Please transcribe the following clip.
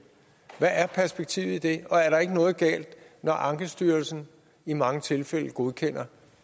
hvad er perspektivet i det er der ikke noget galt når ankestyrelsen i mange tilfælde godkender